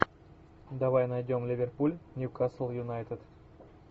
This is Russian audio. давай найдем ливерпуль ньюкасл юнайтед